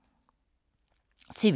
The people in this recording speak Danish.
TV 2